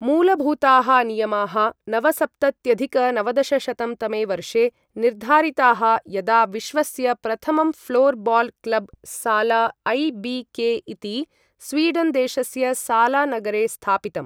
मूलभूताः नियमाः नवसप्तत्यधिक नवदशशतं तमे वर्षे निर्धारिताः यदा विश्वस्य प्रथमं floorball club Sala IBK. इति स्वीडन् देशस्य साला नगरे स्थापितम्।